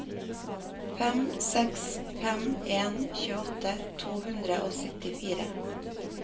fem seks fem en tjueåtte to hundre og syttifire